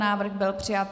Návrh byl přijat.